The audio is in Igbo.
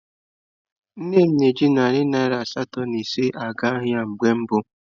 Nne m ji narị naira asatọ na ise na-aga ahịa mgbe mbụ.